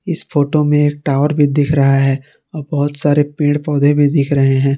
इस फोटो में एक टावर भी दिख रहा है और बहोत सारे पेड़ पौधे भी दिख रहे हैं।